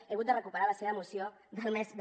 he hagut de recuperar la seva moció del mes de